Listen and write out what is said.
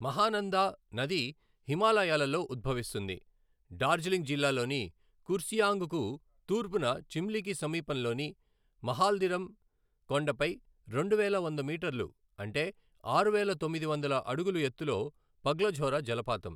మహానందా నది హిమాలయాలలో ఉద్భవిస్తుంది, డార్జిలింగ్ జిల్లాలోని కుర్సియాంగ్ కు తూర్పున చిమ్లికి సమీపంలోని మహాల్దిరం కొండపై రెండువేల వంద మీటర్లు అంటే ఆరువేల తొమ్మిది వందల అడుగులు ఎత్తులో పగ్లఝోరా జలపాతం.